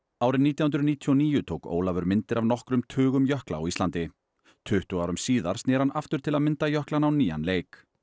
árið nítján hundruð níutíu og níu tók Ólafur myndir af nokkrum tugum jökla á Íslandi tuttugu árum síðar sneri hann aftur til að mynda jöklana á nýjan leik